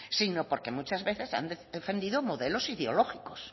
sino porque muchas veces han defendido modelos ideológicos